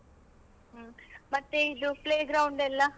ಹ್ಮ್, ಮತ್ತೆ ಇದು play ground ಎಲ್ಲ ಆಟ ಆಡ್ಲಿಕೆ?